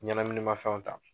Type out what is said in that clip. Ɲɛnaminimafɛnw ta.